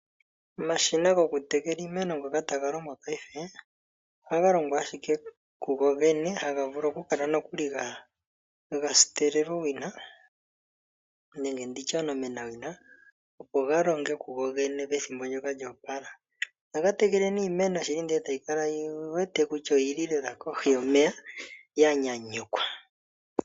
Omashina gokutekela iimeno ngoka taga longwa paife ohaga longo ashike kugogene haga vulu okukala gasitelelwa owina nenge omenawina opo ga longe kugogene pethimbo ndyoka lyoopala. Ohaga tekele iimeno nohayi kala yili lela kohi yomeya ya nyanyukwa.